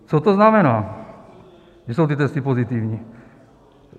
Co to znamená, že jsou ty testy pozitivní?